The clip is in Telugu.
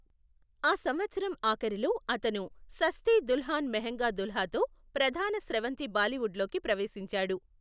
ఆ సంవత్సరం ఆఖరిలో, అతను సస్తి దుల్హాన్ మెహంగా దుల్హాతో ప్రధాన స్రవంతి బాలీవుడ్లోకి ప్రవేశించాడు.